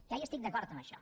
ja hi estic d’acord amb això